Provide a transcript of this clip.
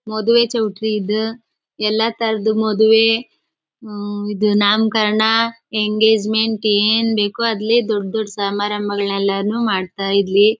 ಮದುವೆ ಚೌಟ್ರಿ ಇದು ಎಲ್ಲ ತರಹದ್ ಮದ್ವೆ ಹು ಇದ್ ನಾಮಕರಣ ಎಂಗೇಜ್ಮೆಂಟ್ ಏನ್ ಬೇಕೋ ಅಲ್ಲಿ ದೊಡ್ ದೊಡ್ ಸಮಾರಂಬಗಳೆಲ್ಲಾನೂ ಮಾಡ್ತಾ ಇರ್ಲಿ.